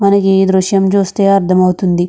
మనకీ దృశ్యం చూస్తే అర్థమవుతుంది.